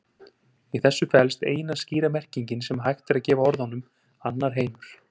Í þessu felst eina skýra merkingin sem hægt er að gefa orðunum annar heimur.